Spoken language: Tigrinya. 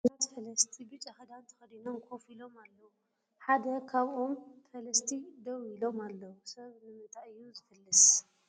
ብዙሓት ፈለስቲ ብጫ ክዳን ተከዲኖም ኮፍ ኢሎም ኣለዉ ሓደ ካብዮም ፈለስቲ ደው ኢሎም ኣለዉ ። ሰብ ንምንታይ እዩ ዝፍልስ ?